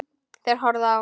Þeir horfðu á.